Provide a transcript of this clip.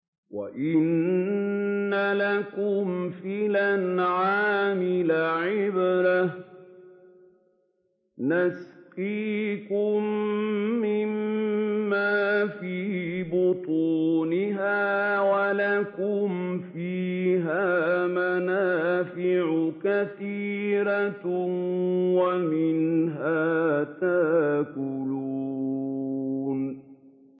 وَإِنَّ لَكُمْ فِي الْأَنْعَامِ لَعِبْرَةً ۖ نُّسْقِيكُم مِّمَّا فِي بُطُونِهَا وَلَكُمْ فِيهَا مَنَافِعُ كَثِيرَةٌ وَمِنْهَا تَأْكُلُونَ